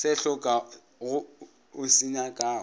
se hlokago o se nyakago